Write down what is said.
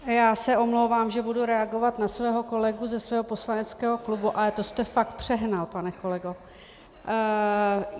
Já se omlouvám, že budu reagovat na svého kolegu ze svého poslaneckého klubu, ale to jste fakt přehnal, pane kolego.